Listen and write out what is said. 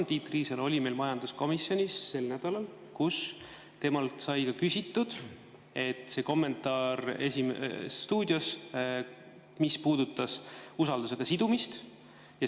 Tiit Riisalo oli meil majanduskomisjonis sel nädalal ning temalt sai ka küsitud kommentaari "Esimeses stuudios", mis puudutas usaldus sidumist.